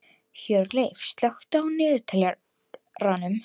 Hjörleif, slökktu á niðurteljaranum.